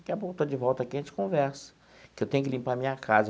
Daqui a pouco eu estou de volta aqui, a gente conversa, que eu tenho que limpar a minha casa.